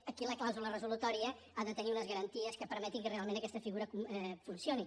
aquí la clàusula resolutòria ha de tenir unes garanties que permetin que realment aquesta figura funcioni